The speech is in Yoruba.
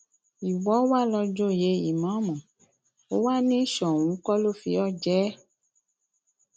ìwọ wàá lò ó joyè ìmáàmù ó wàá ní soun kó lọ fi ọ jẹ ẹ